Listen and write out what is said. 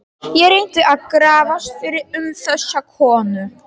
Ég reyndi að grafast fyrir um þessa konu.